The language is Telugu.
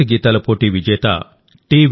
దేశభక్తి గీతాల పోటీ విజేత టి